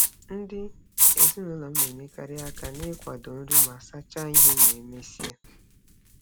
Ndị ezinụụlọ m na-enyekarị aka n'ịkwado nri ma sachaa ihe ma e mesịa.